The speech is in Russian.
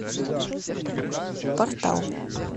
портал